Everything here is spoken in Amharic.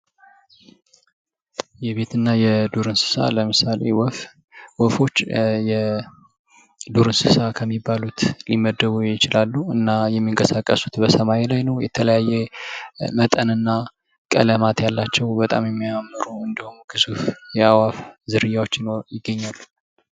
የቤትና የዱር እንስሳ ለምሳሌ ወፍ ወፎች የዱር እንስሳ ከሚባሉት ሊመደቡ ይችላሉ፤ እና የሚንቀሳቀሱት የሰማይ ላይ ነው። የተለያየ መጠን እና ቀለማት ያላቸው በጣም የሚያማምሩ እንዲሁም ግዙፍ የአዕፍ ዝርያዎች ይገኛሉ።